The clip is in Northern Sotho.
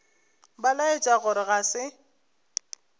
ba laetša gore ga se